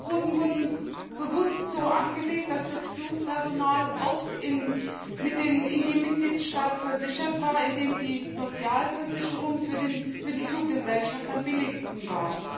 Flugrouten wurden bewusst so angelegt, dass das Flugpersonal oft in dem Mitgliedstaat versichert war, in dem die Sozialversicherung für die Fluggesellschaft am billigsten war.